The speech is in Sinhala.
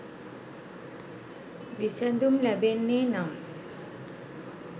විසැඳුම් ලැබෙන්නේ නම්